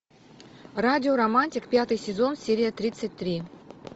радио романтик пятый сезон серия тридцать три